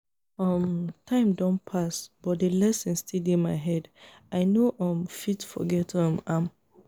i no go forget how i cry when my dog kpai dat day when i still be pikin